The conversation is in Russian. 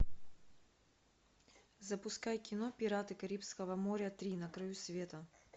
запускай кино пираты карибского моря три на краю света